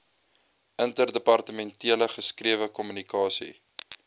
interdepartementele geskrewe kommunikasie